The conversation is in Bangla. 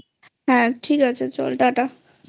হ্যাঁ ঠিক আছে চল Tata